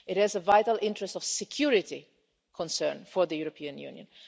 It is a vital interest of security concern for the European Union.